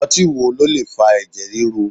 Ọtí wo ló lè fa ẹ̀jẹ̀ ríru?